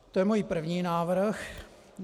To je můj první návrh.